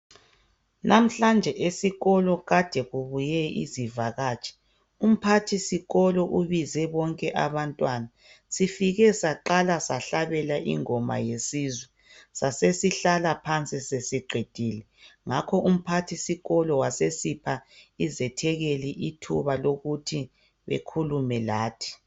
Namhlanje esikolo kade kubuye izivakatshi umphathisikolo ubize bonke abantwana . Sifike saqala sahlabela ingoma yesizwe sasesihlala phansi sesiqedile ngakho umphathisikolo wasesipha izethekeli ithuba lokuthi bekhulume lathi.